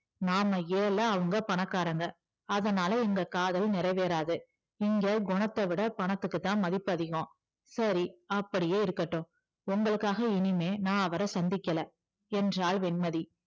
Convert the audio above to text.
நாம ஏழை அவங்க பணக்காரங்க அதனால எங்க காதல் நிறைவேறாது இங்கே குணத்தை விட பணத்துக்குதான் மதிப்பு அதிகம் சரி அப்படியே இருக்கட்டும் உங்களுக்காக இனிமேல் நான் அவரை சந்திக்கல என்றாள் வெண்மதி